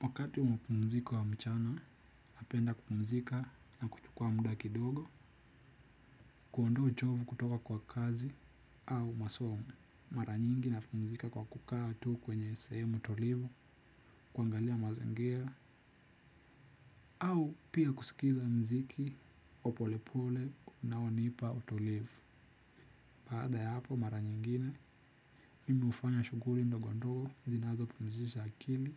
Wakati wa mapumziko ya mchana, napenda kupumzika na kuchukua muda kidogo, kuondoa uchovu kutoka kwa kazi au masomo. Mara nyingi napumzika kwa kukaa tu kwenye sahemu tulivu, kuangalia mazingira, au pia kusikiza mziki wa polepole unaonipa utulivu. Baada ya hapo mara nyingine, mimi hufanya shughuli ndogo ndogo zinazo pumzisha akili